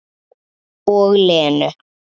Og Lenu.